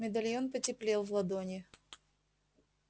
медальон потеплел в ладони